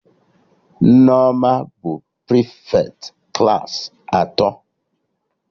Nneoma bụ prịfeti klaasị atọ